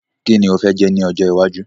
Ki ni o fẹ́ jẹ́ ní ọjọ́ iwájú?